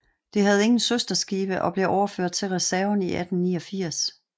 Det havde ingen søsterskibe og blev overført til reserven i 1889